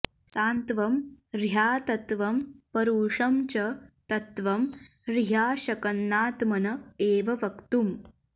सान्त्वं ह्यतत्वं परुषं च तत्त्वं ह्रियाशकन्नात्मन एव वक्तुम्